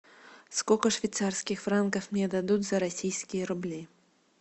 сколько швейцарских франков мне дадут за российские рубли